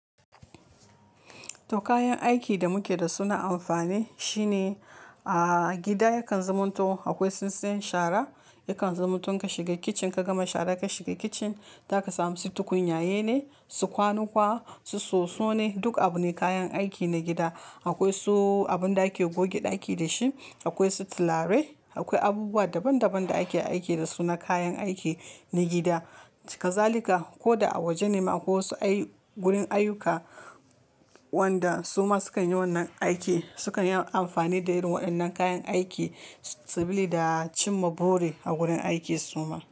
To kayan aikin da muke da su na amfani shine a gida yakan zaman to akwai tsintsiyan shara yakan zamato in ka shiga kitchen ka gama shara ka shiga kitchen za ka samu su tukunyaye ne, su kwanuka, su soso ne duk abu ne kayan aiki na gida. Akwai su abun da ake goge ɗaki da shi, akwai su tulare, akwai abubuwa daban daban da ake aiki da su na kayan aiki na gida. Hazalika ko da a waje nema akwa wasu ayi gurin ayuka wanda suma sukan yi wannan aiki sukan yi amfani da irin waɗannan kayan aiki, sabili da cimma buri a gurin aiki suma.